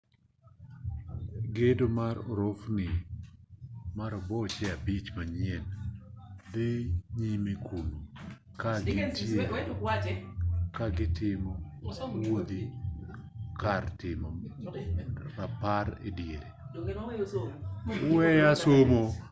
gedo mar orofni maroboche abich manyien dhi nyime kuno ka gintiere gi kar timo wuodhi kod kar timo rapar e diere